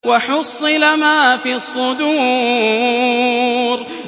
وَحُصِّلَ مَا فِي الصُّدُورِ